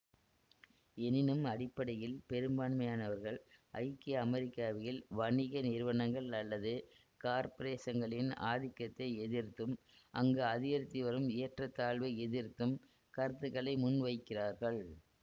எனினும் அடிப்படையில் பெரும்பான்மையானவர்கள் ஐக்கிய அமெரிக்காவில் வணிக நிறுவனங்கள் அல்லது காப்பிரேசங்களின் ஆதிக்கத்தை எதிர்த்தும் அங்கு அதிகரித்து வரும் ஏற்ற தாழ்வை எதிர்த்தும் கருத்துக்களை முன்வைக்கிறார்கள்